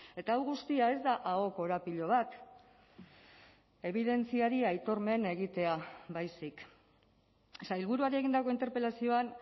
eta hau guztia ez da aho korapilo bat ebidentziari aitormen egitea baizik sailburuari egindako interpelazioan